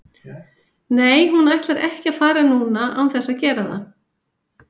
Nei hún ætlar ekki að fara núna án þess að gera það.